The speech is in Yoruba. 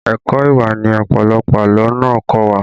Ẹ̀kọ́ ìwà ni ọ̀pọ̀lọpọ̀ àlọ́ náà kọ́ wa